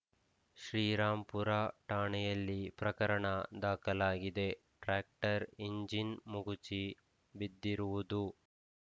ಶ್ರೀರಾಂಪುರ ಠಾಣೆಯಲ್ಲಿ ಪ್ರಕರಣ ದಾಖಲಾಗಿದೆ ಟ್ರ್ಯಾಕ್ಟರ್‌ ಎಂಜಿನ್‌ ಮಗುಚಿ ಬಿದ್ದಿರುವುದು